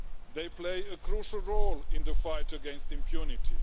They play a crucial role in the fight against impunity.